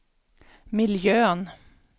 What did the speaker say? miljön